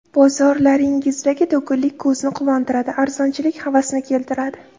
Bozorlaringizdagi to‘kinlik ko‘zni quvontiradi, arzonchilik havasni keltiradi.